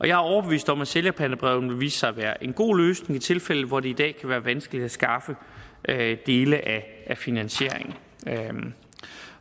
jeg er overbevist om at sælgerpantebrevene vil vise sig at være en god løsning i de tilfælde hvor det i dag kan være vanskeligt at skaffe dele af finansieringen